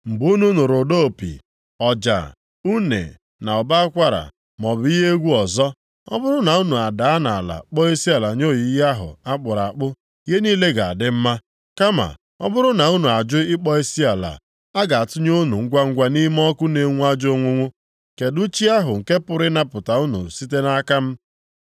Mgbe unu nụrụ ụda opi, ọja, une na ụbọ akwara maọbụ ihe egwu ọzọ, ọ bụrụ na unu adaa nʼala kpọọ isiala nye oyiyi ahụ a kpụrụ akpụ, ihe niile ga-adị mma. Kama ọ bụrụ na unu ajụ ịkpọ isiala, a ga-atụnye unu ngwangwa nʼime ọkụ na-enwu ajọ onwunwu. Kedụ chi ahụ nke pụrụ ịnapụta unu site nʼaka m?”